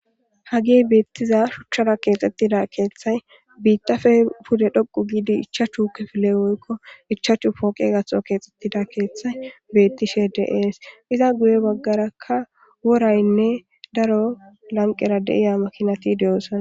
Hagey betiza shuchappe kexetida kethay bittappe pude dhoqu gid 5 kifile woykko 5 pooqetho kexetida kethay betishe de'es . Iza guye bagaraka woraynne daro lanqera betiya makinat de'osona.